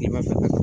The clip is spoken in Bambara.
Kilema fɛ